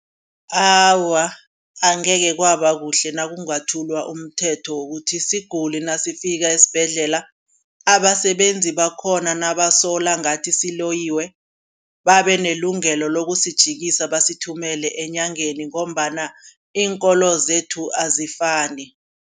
Awa angeke kwaba kuhle nakungathulwa umthetho wokuthi isiguli nasifikako esibhedlela. Abasebenzi bakhona nabasola ngathi siloyiwe babe nelungelo lokusijikisa basithumele eenyangeni ngombana iinkolo zethu azifani.